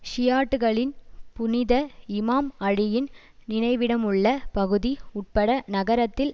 ஷியாட்டுக்களின் புனித இமாம் அலியின் நினைவிடமுள்ள பகுதி உட்பட நகரத்தில்